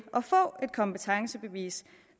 at kompetencebevis